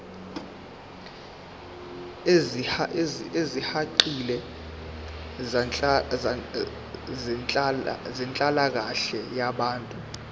ezisihaqile zenhlalakahle yabantu